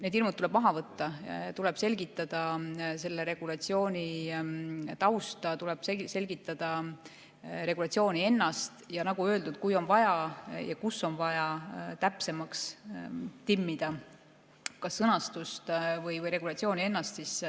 Need hirmud tuleb maha võtta, tuleb selgitada selle regulatsiooni tausta, tuleb selgitada regulatsiooni ennast, ning nagu öeldud, kui on vaja, siis seal, kus on vaja, täpsemaks timmida kas sõnastust või regulatsiooni ennast.